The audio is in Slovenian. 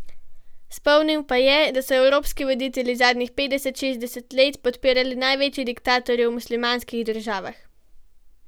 Spomnil pa je, da so evropski voditelji zadnjih petdeset, šestdeset let podpirali največje diktatorje v muslimanskih državah.